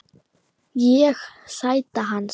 Ég: Sæta hans.